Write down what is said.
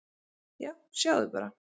"""Já, sjáðu bara!"""